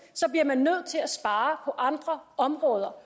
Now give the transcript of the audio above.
bliver man nødt til at spare på andre områder